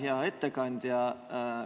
Hea ettekandja!